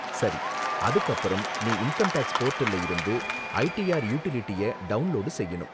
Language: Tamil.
சரி, அதுக்கு அப்பறம் நீ இன்கம் டேக்ஸ் போர்டல்ல இருந்து ஐடிஆர் யுடிலிட்டிய டவுன்லோடு செய்யணும்.